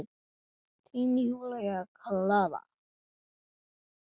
Þín, Júlía Klara.